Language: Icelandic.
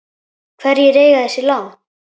Hverjir eiga þessi lán?